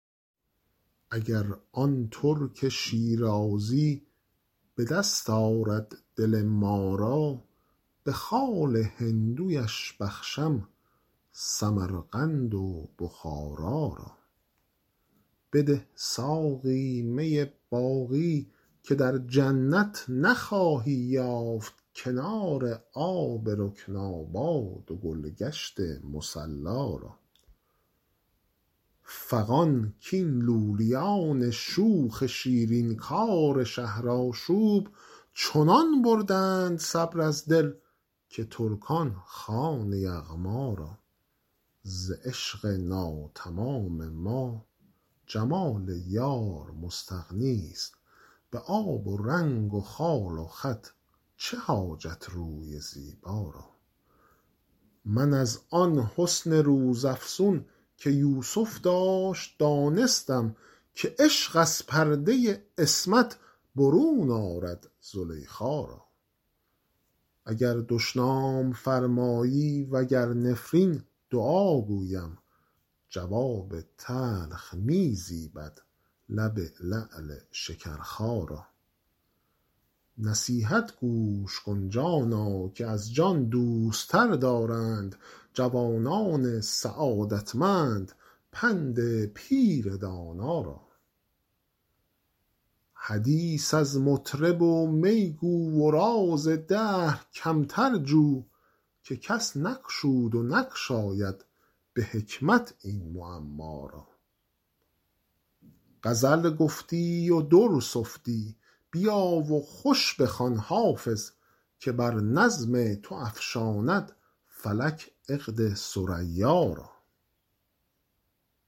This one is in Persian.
اگر آن ترک شیرازی به دست آرد دل ما را به خال هندویش بخشم سمرقند و بخارا را بده ساقی می باقی که در جنت نخواهی یافت کنار آب رکناباد و گل گشت مصلا را فغان کاین لولیان شوخ شیرین کار شهرآشوب چنان بردند صبر از دل که ترکان خوان یغما را ز عشق ناتمام ما جمال یار مستغنی است به آب و رنگ و خال و خط چه حاجت روی زیبا را من از آن حسن روزافزون که یوسف داشت دانستم که عشق از پرده عصمت برون آرد زلیخا را اگر دشنام فرمایی و گر نفرین دعا گویم جواب تلخ می زیبد لب لعل شکرخا را نصیحت گوش کن جانا که از جان دوست تر دارند جوانان سعادتمند پند پیر دانا را حدیث از مطرب و می گو و راز دهر کمتر جو که کس نگشود و نگشاید به حکمت این معما را غزل گفتی و در سفتی بیا و خوش بخوان حافظ که بر نظم تو افشاند فلک عقد ثریا را